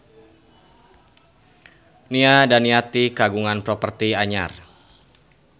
Nia Daniati kagungan properti anyar